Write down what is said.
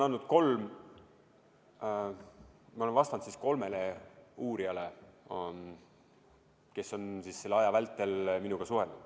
Esiteks, ma olen vastanud kolmele uurijale, kes on selle aja vältel minuga suhelnud.